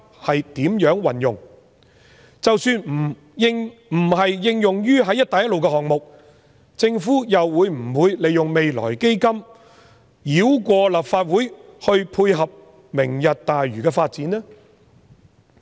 即使不是應用在"一帶一路"項目，政府會否利用未來基金繞過立法會，以配合"明日大嶼"的發展呢？